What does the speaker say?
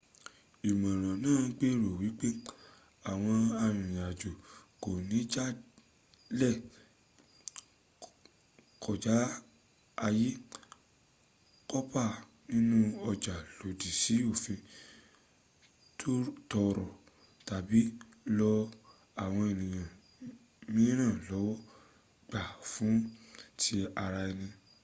ìmọ̀ràn náà gbèrò wípé àwọn arìnrìn-àjò kò ní jalè kọjá àyè kópa nínú ọjà lòdì sí òfin tọrọ tàbí lọ́ àwọn ènìyàn mìírànlọ́wọ́ gbà fún tí ara ẹni